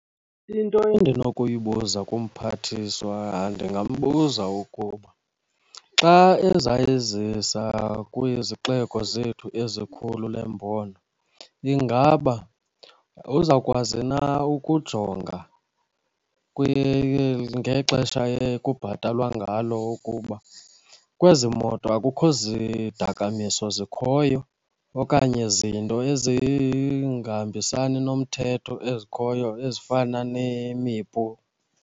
Into endinokuyibuza kumphathiswa, ndingambuza ukuba xa eza yizisa kwizixeko zethu ezikhulu le mbono, ingaba uzawukwazi na ukujonga ngexesha ekubhatalwa ngalo ukuba kwezi moto akukho zidakamiso zikhoyo okanye zinto ezingahambisani nomthetho ezikhoyo ezifana nemipu?